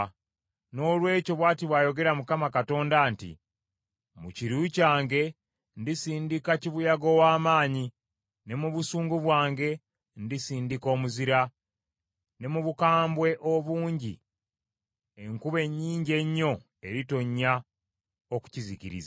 “ ‘Noolwekyo bw’ati bw’ayogera Mukama Katonda nti, Mu kiruyi kyange ndisindika kibuyaga ow’amaanyi, ne mu busungu bwange ndisindika omuzira, ne mu bukambwe obungi enkuba ennyingi ennyo eritonnya okukizikiriza.